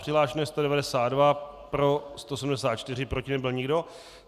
Přihlášeno je 192, pro 174, proti nebyl nikdo.